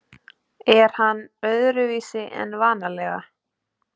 Er hann öðruvísi en vanalega?